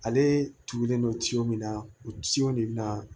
Ale tugulen don tin min na u tison de bɛna